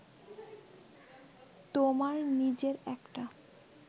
তোমার নিজের একটা